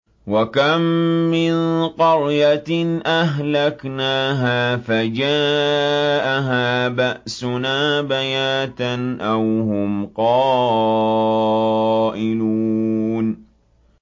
وَكَم مِّن قَرْيَةٍ أَهْلَكْنَاهَا فَجَاءَهَا بَأْسُنَا بَيَاتًا أَوْ هُمْ قَائِلُونَ